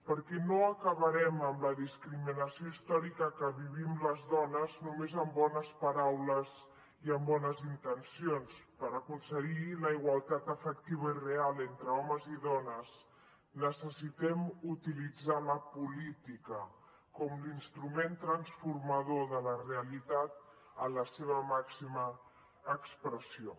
perquè no acabarem amb la discriminació històrica que vivim les dones només amb bones paraules i amb bones intencions per aconseguir la igualtat efectiva i real entre homes i dones necessitem utilitzar la política com l’instrument transformador de la realitat en la seva màxima expressió